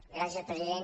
gràcies president